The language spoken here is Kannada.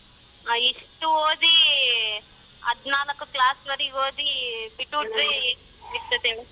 ಹ ಇಷ್ಟ ಓದಿ ಹದಿನಾಲ್ಕು class ನವರೆಗ ಓದಿ ಹೇಗಿರುತ್ತೆ ಹೇಳು.